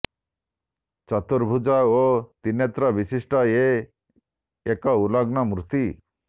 ଚତୁର୍ଭୁଜ ଓ ତ୍ରିନେତ୍ର ବିଶିଷ୍ଟ ଏ ଏକ ଉଲଗ୍ନ ମୂର୍ତ୍ତି